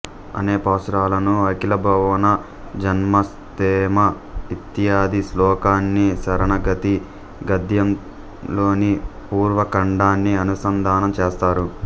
అనేపాశురాలను అఖిల భువన జన్మ స్థేమ ఇత్యాది శ్లోకాన్ని శరణాగతి గద్యంలోని పూర్వ ఖండాన్ని అనుసందానం చేస్తారు